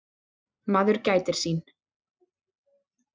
Maður gætir sín.